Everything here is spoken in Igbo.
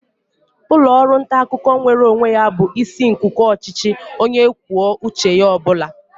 Ụlọ ọrụ nta akụkọ nweere onwe ya bụ isi nkuku ọchịchị onye kwuo uche ya ọ bụla.